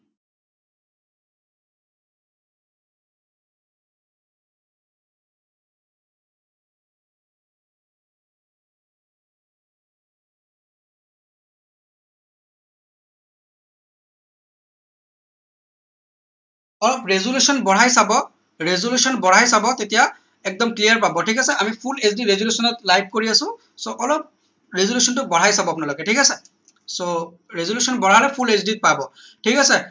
resolution বহাই চাব resolution বহাই চাব তেতিয়া একদম clear পাব ঠিক আছে আমি full hq resolution ত live কৰি আছো so অলপ resolution টো বহাই চাব আপোনালোকে ঠিক আছে so resolution বহালে full hq ত পাব ঠিক আছে